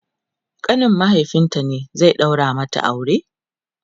ƙanin mahaifinta ne zai daura mata aure?